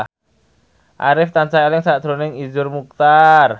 Arif tansah eling sakjroning Iszur Muchtar